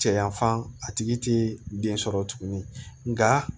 Cɛ yan fan a tigi te den sɔrɔ tuguni nka